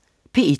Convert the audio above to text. P1: